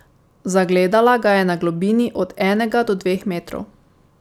Zagledala ga je na globini od enega do dveh metrov.